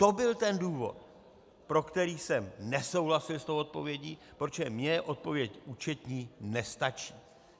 To byl ten důvod, pro který jsem nesouhlasil s tou odpovědí, protože mně odpověď účetní nestačí.